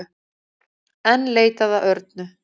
Enn leitað að Örnu